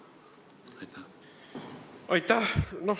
Aitäh!